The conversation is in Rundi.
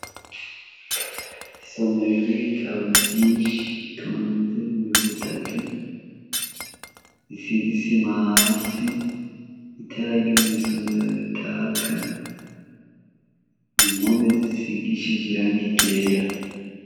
Isomero ry'ibitabo vyinshi biyonze mumirwi itatu, isize isima hasi, itara ryo mw'isomero ritaka, impome zisigishije irangi ryera.